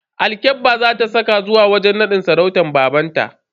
Alkyabba za ta saka zuwa wajen nadin sarautar babanta.